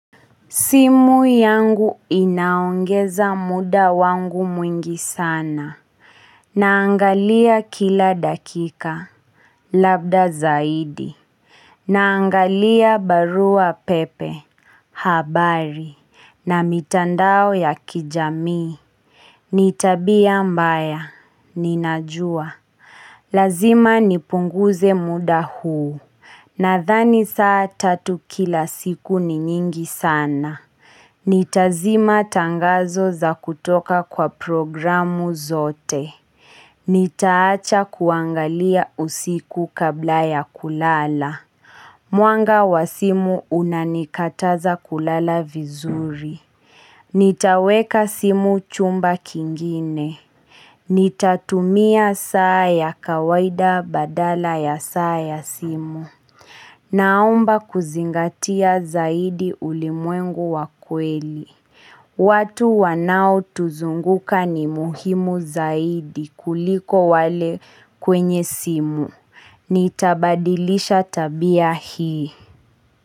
Simu yangu inaongeza muda wangu mwingi sana. Naangalia kila dakika. Labda zaidi. Naangalia barua pepe. Habari. Na mitandao ya kijami. Nitabia mbaya. Ninajua. Lazima nipunguze muda huu. Nadhani saa tatu kila siku ni nyingi sana. Nitazima tangazo za kutoka kwa programu zote. Nitaacha kuangalia usiku kabla ya kulala. Mwanga wa simu unanikataza kulala vizuri. Nitaweka simu chumba kingine. Nitatumia saa ya kawaida badala ya saa ya simu. Naomba kuzingatia zaidi ulimwengu wa kweli. Watu wanao tuzunguka ni muhimu zaidi kuliko wale kwenye simu. Nitabadilisha tabia hii.